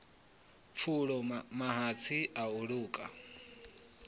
pfulo mahatsi a u luka